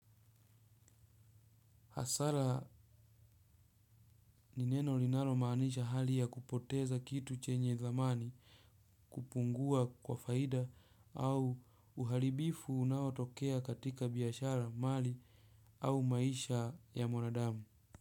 Hasara ni neno linalo maanisha hali ya kupoteza kitu chenye dhamani kupungua kwa faida au uharibifu unaotokea katika biashara mali au maisha ya mwanadamu.